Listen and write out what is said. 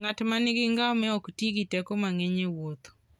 Ng'at ma nigi ngamia ok ti gi teko mang'eny e wuodhno.